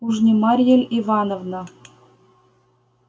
уж не марья ль ивановна